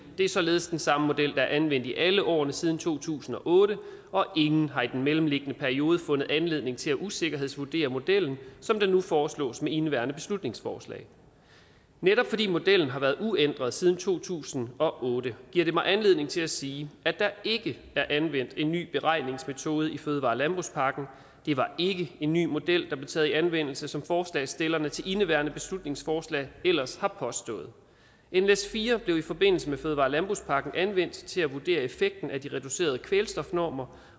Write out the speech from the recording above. det er således den samme model der er anvendt i alle årene siden to tusind og otte og ingen har i den mellemliggende periode fundet anledning til at usikkerhedsvurdere modellen som det nu foreslås med indeværende beslutningsforslag netop fordi modellen har været uændret siden to tusind og otte giver det mig anledning til at sige at der ikke er anvendt en ny beregningsmetode i fødevare og landbrugspakken det var ikke en ny model der blev taget i anvendelse som forslagsstillerne til indeværende beslutningsforslag ellers har påstået nles4 blev i forbindelse med fødevare og landbrugspakken anvendt til at vurdere effekten af de reducerede kvælstofnormer